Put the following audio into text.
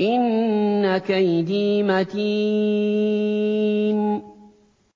إِنَّ كَيْدِي مَتِينٌ